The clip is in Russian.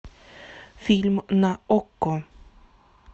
фильм на окко